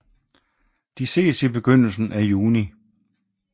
De ses i begyndelsen af juni